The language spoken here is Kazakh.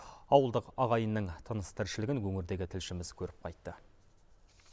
ауылдық ағайынның тыныс тіршілігін өңірдегі тілшіміз көріп қайтты